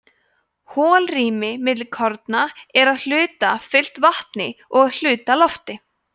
holrými milli korna er að hluta fyllt vatni og að hluta lofti